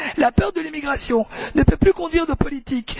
La peur de l'immigration ne peut plus conduire nos politiques.